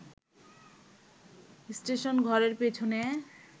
স্টেশনঘরের পিছনে